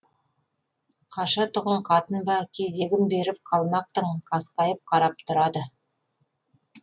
қашатұғын қатын ба кезегін беріп қалмақтың қасқайып қарап тұрады